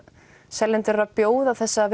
seljendur eru að bjóða þessa